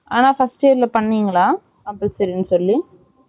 ஆ first year ல பண்ணுனிங்களா compulsory ன்னு சொல்லி